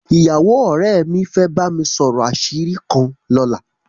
Ìyàwó ọ̀rẹ́ mi fẹ́ bá mi sọ̀rọ̀ àṣírí kan lọ́la